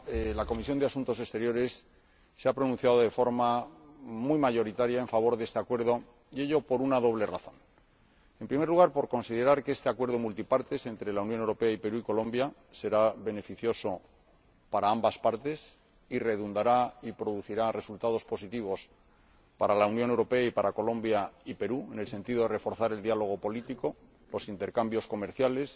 Señora Presidenta, la Comisión de Asuntos Exteriores se ha pronunciado de forma muy mayoritaria a favor de este Acuerdo, y ello por una doble razón en primer lugar, por considerar que este Acuerdo multilateral entre la Unión Europea, el Perú y Colombia será beneficioso para ambas partes y redundará y producirá resultados positivos para la Unión Europea, para Colombia y el Perú, en el sentido de que reforzará el diálogo político, los intercambios comerciales,